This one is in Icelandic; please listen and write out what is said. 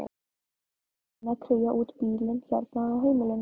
Ég er búin að kría út bílinn hérna á heimilinu.